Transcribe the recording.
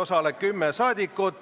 osale 10 saadikut.